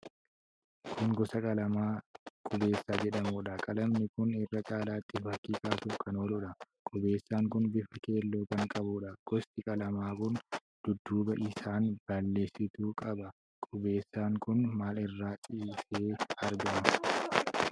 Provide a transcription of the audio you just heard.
Kun gosa qalamaa qubeessaa jedhamuudha. qalami kun irra caalaatti fakkii kaasuuf kan ooludha. Qubeessaan kun bifa keelloo kan qabuudha. Gosi qalamaa kun dudduuba isaan balleessituu qaba. Qubeessaan kun maal irra ciisee argama?